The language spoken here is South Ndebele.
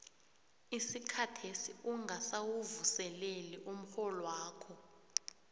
isikhathesi ungakawuvuseleli umrholwakho